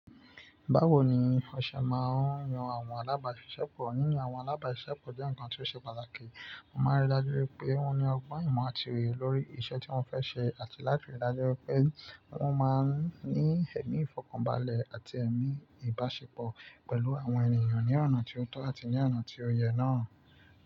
Báwo ni ọṣẹ máa ń yan àwọn alábáṣiṣẹ́ pọ̀ yiyan àwọn alábáṣiṣẹ́ pọ̀ jẹ́ ǹkan tí ó ṣe pàtàkì, mo máa ríi dájú pé wọ́n ní ọgbọ́n ìmọ̀ àti òye lórí iṣẹ́ tí wọ́n fẹ́ ṣe àti láti rí i dájú pé wọ́n máa ń ní ẹ̀mí ìfọ̀kànbalẹ̀ àti ẹ̀mí ìbáṣepọ̀ pẹ̀lú àwọn ènìyàn ní ọ̀nà tí ó tọ́ àti ní ọ̀nà tí ó yẹ náà.